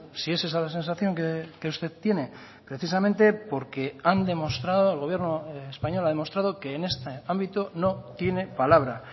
si es esa la sensación que usted tiene precisamente porque han demostrado el gobierno español ha demostrado que en este ámbito no tiene palabra